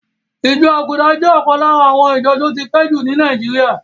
Ìjọ Àgùdà jẹ́ ọ̀kan lára àwọn ìjọ tí ó ti pẹ́ jù ní Nàíjíríà.